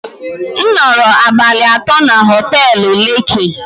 M nọrọ abalị atọ na họtelu lekki